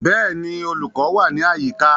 Bẹ́ẹ̀ni, olùkọ́ wà ní àyíká